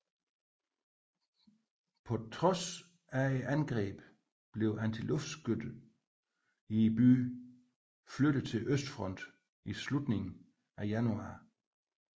På trods af angrebet blev antiluftskytset i byen flyttet til østfronten i slutningen af januar